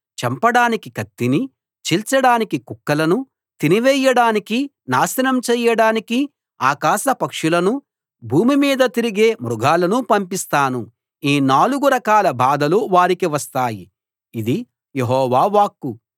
చంపడానికి కత్తినీ చీల్చడానికి కుక్కలనూ తినివేయడానికీ నాశనం చేయడానికీ ఆకాశ పక్షులనూ భూమి మీద తిరిగే మృగాలనూ పంపిస్తాను ఈ నాలుగు రకాల బాధలు వారికి వస్తాయి ఇది యెహోవా వాక్కు